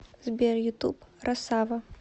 сбер ютуб росава